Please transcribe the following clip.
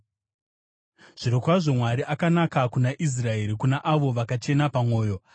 Zvirokwazvo Mwari akanaka kuna Israeri, kuna avo vakachena pamwoyo.